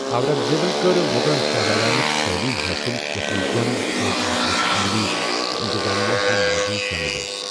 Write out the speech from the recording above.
اورنگ زیبن کٔر مغل شاہزادانہٕ تعلیٖم حٲصل یتھ منٛز جنگ، فوجی حکمت عملی تہٕ انتظامیہ ہیۍ موضوٗع شٲمِل ٲس۔